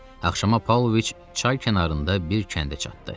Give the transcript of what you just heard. Axşama Pavloviç çay kənarında bir kəndə çatdı.